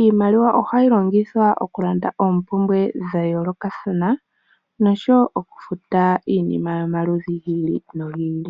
Iimaliwa oha yi longithwa okulanda oompumbwe dha yoolokathana noshowo okufuta iinima yomaludhi giili no giili.